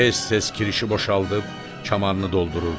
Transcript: Tez-tez kirişi boşaldıb, kamanını doldururdu.